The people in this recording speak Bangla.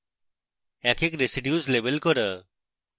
এক এক residues label করা